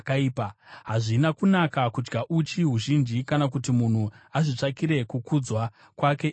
Hazvina kunaka kudya uchi huzhinji, kana kuti munhu azvitsvakire kukudzwa kwake iye.